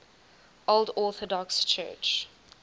old orthodox church